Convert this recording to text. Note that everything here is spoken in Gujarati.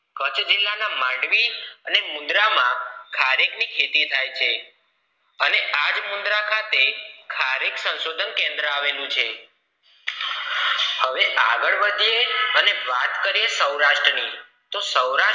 ખારેક ની ખેતી થાય છે અને આ મૂર્ધા ખાતે ખારેક સંશોધન કેન્દ્ર આવેલું છે હવે આગળ વધી યે અને વાત કરીએ સૌરાષ્ટ્ર ની તો સૌરાષ્ટ્ર